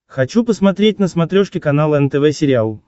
хочу посмотреть на смотрешке канал нтв сериал